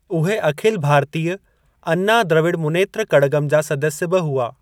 उहे अखिल भारतीय अन्ना द्रविड़ मुनेत्र कड़गम जा सदस्य बि हुआ।